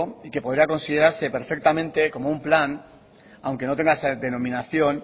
y que podría considerarse perfectamente como un plan aunque no tenga esa denominación